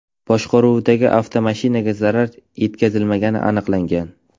boshqaruvidagi avtomashinaga zarar yetkazilmagani aniqlangan.